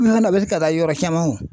an na wili ka taa yɔrɔ caman o